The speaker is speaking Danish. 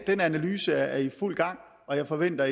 den analyse er i fuld gang og jeg forventer